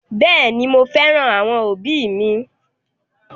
Bẹẹni, mo féràn àwọn òbí mi